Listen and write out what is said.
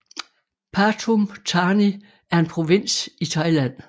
Pathum Thani er en provins i Thailand